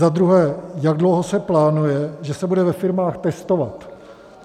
Za druhé, jak dlouho se plánuje, že se bude ve firmách testovat?